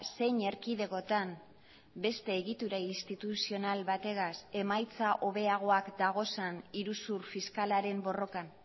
zein erkidegotan beste egitura instituzional bategaz emaitza hobeagoak dagozan iruzur fiskalaren borrokan